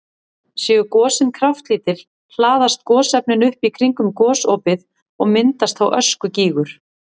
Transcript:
Séu gosin kraftlítil hlaðast gosefnin upp í kringum gosopið og myndast þá öskugígur.